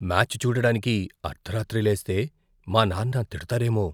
Match చూడడానికి అర్దరాత్రి లేస్తే మా నాన్న తిడతారేమో.